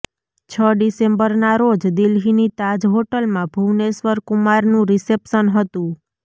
છ ડિસેમ્બરના રોજ દિલ્હીની તાજ હોટલમાં ભુવનેશ્વર કુમારનું રિસેપ્શન હતું